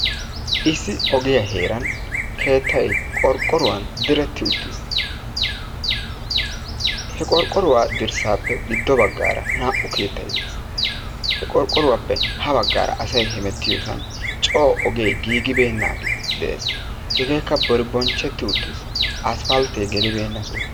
Issi ogiya heeran keettay qorqqoruwan diretti uttiis. He qorqqoruwa dirssaappe ha baggaara naa''u keettay dees. He qorqqoruwappe ha baggaara asay hemettiyo oge giigibeenaage de'ees, hegakka boribonchcheti uttiis, aspalte gelibeena soho.